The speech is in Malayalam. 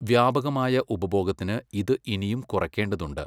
വ്യാപകമായ ഉപഭോഗത്തിന്, ഇത് ഇനിയും കുറയ്ക്കേണ്ടതുണ്ട്.